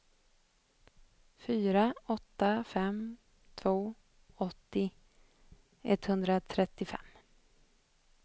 fyra åtta fem två åttio etthundratrettiofem